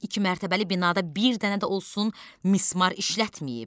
İki mərtəbəli binada bir dənə də olsun mismar işlətməyib.